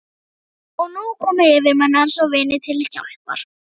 Og nú komu yfirmenn hans og vinir til hjálpar.